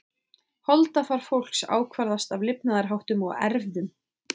Holdafar fólks ákvarðast af lifnaðarháttum og erfðum.